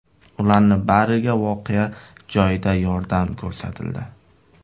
Ularning bariga voqea joyida yordam ko‘rsatildi.